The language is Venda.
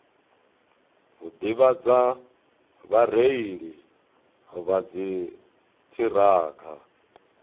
u ḓivhadza vhareili vha dziṱhirakha